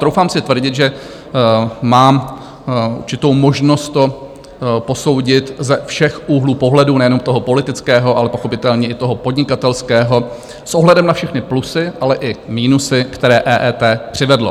Troufám si tvrdit, že mám určitou možnost to posoudit ze všech úhlů pohledu, nejenom toho politického, ale pochopitelně i toho podnikatelského, s ohledem na všechny plusy, ale i minusy, které EET přivedlo.